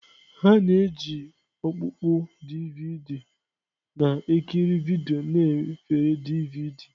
A na-eji ihe ọkpụkpọ DVD na-ekiri vidiyo na efere DVD.